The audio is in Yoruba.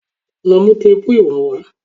Lọ mú téèpù ìwọ̀n wá.!